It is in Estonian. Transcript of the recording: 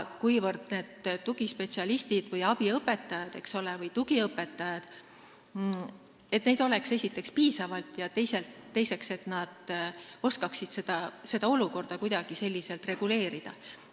Tugispetsialiste, abiõpetajaid või tugiõpetajaid peab esiteks olema piisavalt ja teiseks peavad nad oskama seda olukorda kuidagi reguleerida.